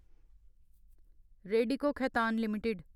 Radico Khaitan limited